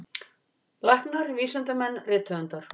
Læknar, vísindamenn, rithöfundar.